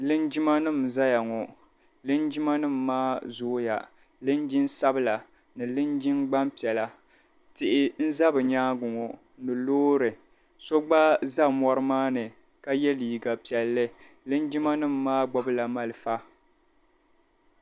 Linjimanima zaya ŋɔ linjimanima maa zooya. Linjin' sabila ni linjin' gbampiɛla. Tihi n-za bɛ nyaaŋga ŋɔ ni loori. So gba za mɔri maa ni ka ye liiga piɛlli. Linjimanima maa gbibila malifa.